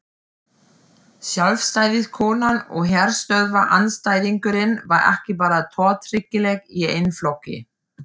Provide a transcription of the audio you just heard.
Sjálfstæðiskonan og herstöðvaandstæðingurinn var ekki bara tortryggileg í eigin flokki.